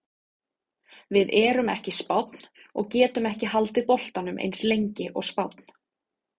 Við erum ekki Spánn og getum ekki haldið boltanum eins lengi og Spánn.